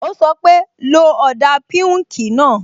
Ó sọ pé, "lo ọ̀dà píùnkì náà"